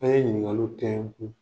An ye ɲininkaliw tɛngu.